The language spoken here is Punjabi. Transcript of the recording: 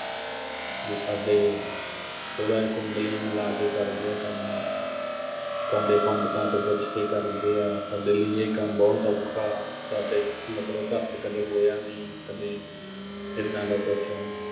ਵੀ ਸਾਡੇ ਥੋੜ੍ਹਾ ਜਾ ਕੁੰਡਲੀਆਂ ਮਿਲਾ ਕੇ ਕਰਦੇ ਆ ਕੰਮ, ਸਾਡੇ ਪੰਡਿਤਾਂ ਤੋਂ ਪੁੱਛ ਕੇ ਕਰਦੇ ਆ, ਸਾਡੇ ਲਈ ਇਹ ਕੰਮ ਬਹੁਤ ਔਖਾ, ਸਾਡੇ ਮਤਲਬ ਘਰ 'ਚ ਕਦੇ ਹੋਇਆ ਨੀਂ ਕਦੇ ਏਦਾਂ ਦਾ ਕੁਸ਼